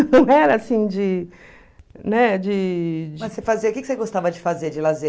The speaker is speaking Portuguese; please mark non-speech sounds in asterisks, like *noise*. Não era assim de... Né, de... Mas você *unintelligible* que você gostava de fazer de lazer?